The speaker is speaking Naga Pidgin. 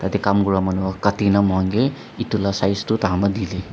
te kam kuraa manu para kati na mokhan ke etu la size toh taikhan para didey.